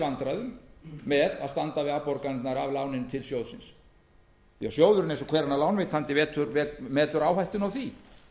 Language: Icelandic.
vandræðum með að standa við afborganirnar af láninu til sjóðsins því að sjóðurinn metur eins og hver annar lánveitandi áhættuna af því